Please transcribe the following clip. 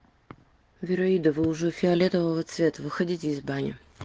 вираида вы уже фиолетового цвета выходите из бани